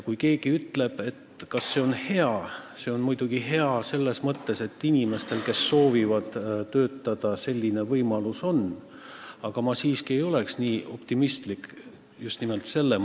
Kui keegi küsib, kas see on hea, siis see on muidugi hea selles mõttes, et inimestel, kes soovivad töötada, säärane võimalus on, aga ma siiski ei oleks nii optimistlik, et asi on just nimelt selles.